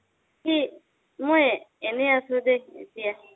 মই এনে আছো দে এতিয়া।